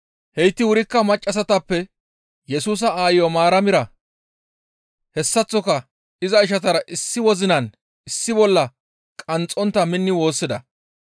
Heyti wurikka maccassatappe Yesusa aayo Maaramira hessaththoka iza ishatara issi wozinan issi bolla qanxxontta minni woossida.